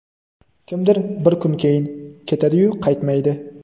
kimdir bir kun keyin… Ketadi-yu, qaytmaydi.